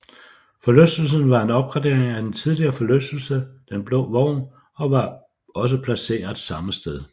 Forlystelsen var en opgradering af den tidligere forlystelse Den Blå Vogn og var også placeret samme sted